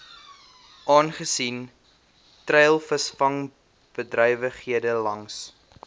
aangesien treilvisvangbedrywighede langs